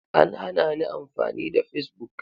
An hanani amfani da facebook.